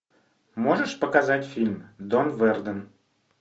можешь показать фильм дон верден